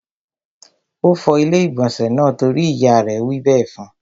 Ó fọ ilé-ìgbọ̀nsẹ̀ náà torí ìyá rẹ̀ wí bẹ́ẹ̀ fún.